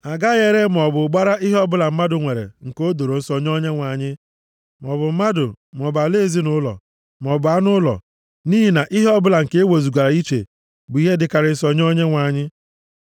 “ ‘A gaghị ere, maọbụ gbara ihe ọbụla mmadụ nwere, nke o doro nsọ + 27:28 \+xt Jos 6:15-17\+xt* nye Onyenwe anyị, maọbụ mmadụ, maọbụ ala ezinaụlọ, maọbụ anụ ụlọ, nʼihi na ihe ọbụla nke e wezugara iche bụ ihe dịkarịsịrị nsọ nye Onyenwe anyị.